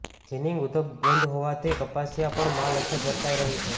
ginning ઉદ્યોગ બંધ હોવાથી કપાસિયામાં પણ માલ અછત વર્તાઈ રહી છે